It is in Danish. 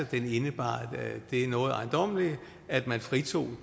det indebar det noget ejendommelige at man fritog